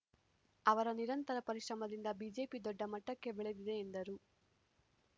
ಅವರ ನಿರಂತರ ಪರಿಶ್ರಮದಿಂದ ಬಿಜೆಪಿ ದೊಡ್ಡ ಮಟ್ಟಕ್ಕೆ ಬೆಳೆದಿದೆ ಎಂದರು